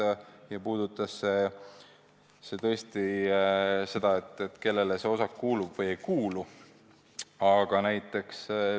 Ja need puudutasid seda, kellele osakud kuuluvad.